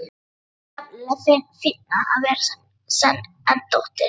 Það er nefnilega fínna að vera sen en dóttir.